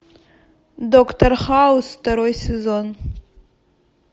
доктор хаус второй сезон